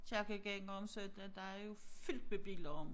Kirkegængere om søndagen der er jo fyldt med biler om